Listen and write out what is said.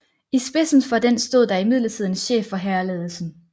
I spidsen for den stod der imidlertid en chef for hærledelsen